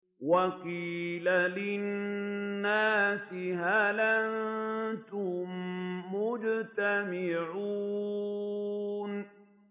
وَقِيلَ لِلنَّاسِ هَلْ أَنتُم مُّجْتَمِعُونَ